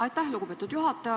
Aitäh, lugupeetud juhataja!